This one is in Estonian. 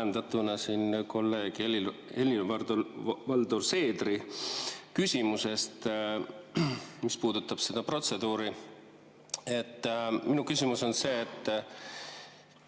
Ajendatuna kolleeg Helir-Valdor Seederi küsimusest, mis puudutas seda protseduuri, on minu küsimus see,